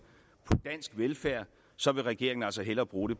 på dansk velfærd så vil regeringen altså hellere bruge